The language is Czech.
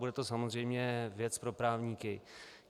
Bude to samozřejmě věc pro právníky.